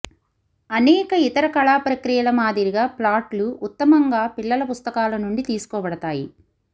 అనేక ఇతర కళా ప్రక్రియల మాదిరిగా ప్లాట్లు ఉత్తమంగా పిల్లల పుస్తకాలు నుండి తీసుకోబడతాయి